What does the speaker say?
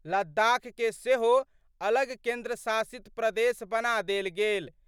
लद्दख के सेहो अलग केंद्र शासित प्रदेश बना देल गेल।